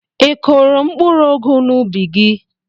Ị kụrụ mkpụrụ ụgụ n'úbì gị?